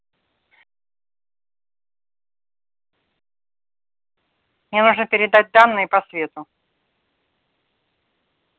мне нужно передать данные по свету